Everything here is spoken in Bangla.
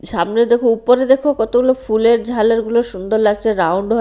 সামনে দেখো উপরে দেখো কতগুলো ফুলের ঝালরগুলো সুন্দর লাগছে রাউন্ড হয়ে--